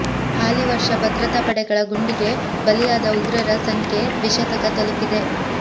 ಹಾಲಿ ವರ್ಷ ಭದ್ರತಾ ಪಡೆಗಳ ಗುಂಡಿಗೆ ಬಲಿಯಾದ ಉಗ್ರರ ಸಂಖ್ಯೆ ದ್ವಿಶತಕ ತಲುಪಿದೆ